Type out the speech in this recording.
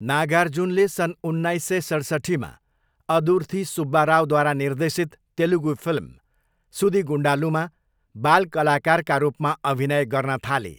नागार्जुनले सन् उन्नाइस सय सतसट्ठीमा अदुर्थी सुब्बा रावद्वारा निर्देशित तेलुगु फिल्म सुदिगुन्डालूमा बाल कलाकारका रूपमा अभिनय गर्न थाले।